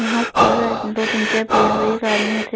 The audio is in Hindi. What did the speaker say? यहाँ पर दो तीन चेयर पड़ी है एक आदमी --